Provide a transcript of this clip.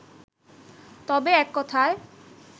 তবে এক কথায়